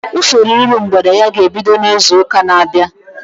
Usoro iru mgbede ya ga-ebido izu ụka na-abịa